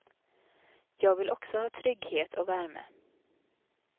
Jag vill också ha trygghet och värme.